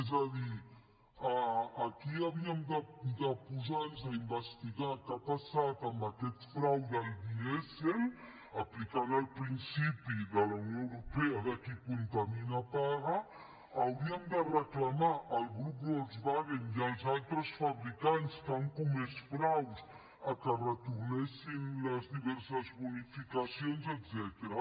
és a dir aquí havíem de posar nos a investigar què ha passat amb aquest frau del dièsel aplicant el principi de la unió europea de qui contamina paga hauríem de reclamar al grup volkswagen i als altres fabricants que han comès fraus que retornessin les diverses bonificacions etcètera